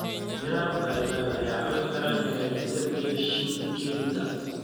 Miraha papai waxay caawin karaan hagaajinta dheef-shiid kiimika.